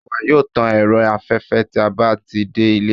awa yoo tàn erò aféfé tí a ba ti de ìlé